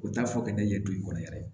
U t'a fɔ k'e ye don i kɔni yɛrɛ ye